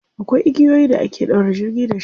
Akwai igiyoyin da ake ɗaure jirgi da shi.